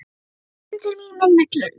Ég fer inn til mín með neglurnar.